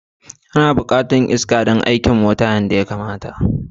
Ana buƙatar iska mai tsabta don aikin injin mota yadda ya kamata